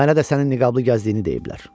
Mənə də sənin niqablı gəzdiyini deyiblər.